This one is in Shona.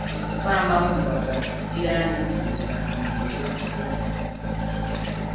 Vanhu ari kufamba mumugwagwa kukwira nekudzika mudhorobha reHarare.